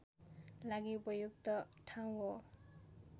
लागि उपयुक्त ठाउँ हो